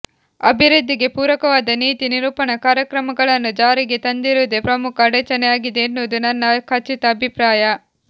ಅಭಿವೃದ್ಧಿಗೆ ಪೂರಕವಾದ ನೀತಿ ನಿರೂಪಣಾ ಕಾರ್ಯಕ್ರಮಗಳನ್ನು ಜಾರಿಗೆ ತರದಿರುವುದೇ ಪ್ರಮುಖ ಅಡಚಣೆ ಆಗಿದೆ ಎನ್ನುವುದು ನನ್ನ ಖಚಿತ ಅಭಿಪ್ರಾಯ